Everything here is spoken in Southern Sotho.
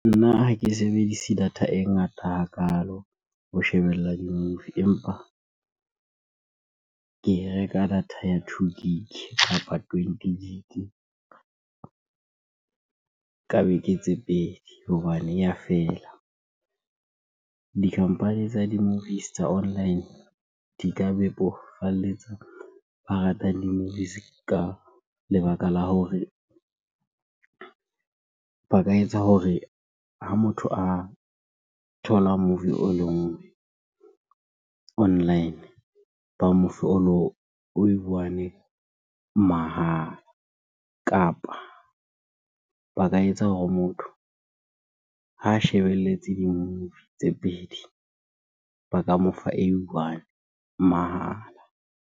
Nna ha ke sebedisa data e ngata hakalo ho shebella di-movie empa ke e reka data ya two gig kapa twenty gig ka beke tse pedi hobane ya fela. Di-company tsa di-movies tsa online di ka bebofalletsa ba rata di-movies ka lebaka la hore ba ka etsa hore ha motho a thola movie o le online, ba mofe one mahala. Kapa ba ka etsa hore motho ha a shebelletse di-movie tse pedi, ba ka mo fa ei one mahala.